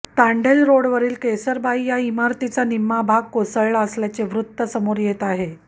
तांडेल रोडवरील केसरबाई या इमारतीचा निम्मा भाग कोसळला असल्याचे वृत्त समोर येत आहे